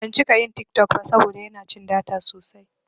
Bana cika yin TikTok saboda yana cin data sosai.